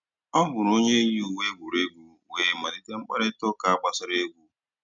Ọ hụ̀rụ̀ ònyè yì ùwé ègwùrègwù wéé malìtè mkpáịrịtà ụ́ka gbàsàrà ègwù.